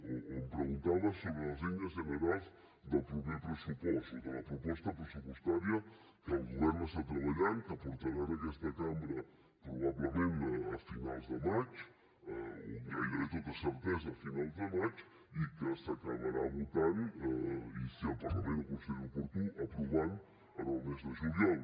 o em preguntava sobre les línies generals del proper pressupost o de la proposta pressupostària que el govern està treballant que portarà a aquesta cambra probablement a finals de maig o gairebé amb tota certesa a finals de maig i que s’acabarà votant i si el parlament ho considera oportú aprovant en el mes de juliol